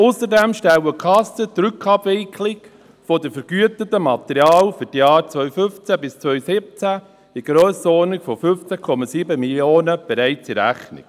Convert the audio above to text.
Ausserdem stellen die Kassen bereits die Rückabwicklung der vergüteten Materialien für die Jahre 2015–2017 in der Grössenordnung von 15,7 Mio. Franken in Rechnung.